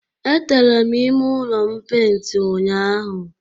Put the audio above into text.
Etere m ime ụlọ m peint ụnyaahụ